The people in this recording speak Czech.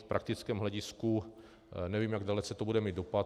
V praktickém hledisku nevím, jak dalece to bude mít dopad.